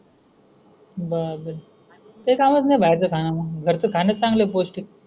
बापरे ते काय मग बाहेरच खान मग घरचा खाण्याच चांगल आहे पौष्टिक?